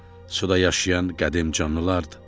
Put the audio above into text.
Suda yaşayan qədim canlılardır.